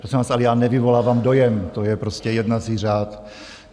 Prosím vás, ale já nevyvolávám dojem, to je prostě jednací řád.